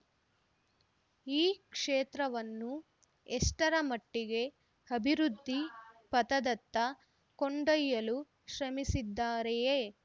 ಈ ಕ್ಷೇತ್ರವನ್ನು ಎಷ್ಟರ ಮಟ್ಟಿಗೆ ಅಭಿವೃದ್ದಿ ಪಥದತ್ತ ಕೊಂಡೊಯಲು ಶ್ರಮಿಸಿದ್ದಾರೆಯೇ